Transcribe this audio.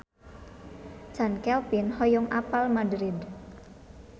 Chand Kelvin hoyong apal Madrid